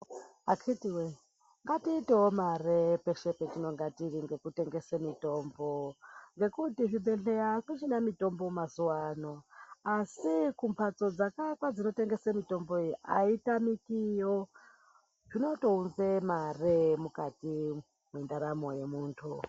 Akhithi woyee ngatiitewo mare peshe patinenge tiri nekutengesa mitombo. Ngekuti zvibhedhleya akuchina mitombo mazuwa ano. Asi kumhatso dzakaakwa dzinotengesa mitombo iyi aitamikiyo. Zvinotounza mare mukati mwendaramo yemuntu.